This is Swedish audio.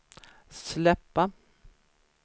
släppa